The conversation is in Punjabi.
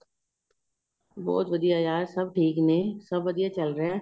ਬਹੁਤ ਵਧੀਆ ਯਾਰ ਸਭ ਠੀਕ ਨੇ ਸਭ ਵਧੀਆ ਚੱਲ ਰਿਹਾਂ